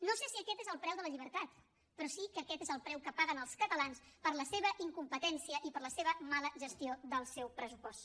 no sé si aquest és el preu de la llibertat però sí que aquest és el preu que paguen els catalans per la seva incompetència i per la mala gestió del seu pressupost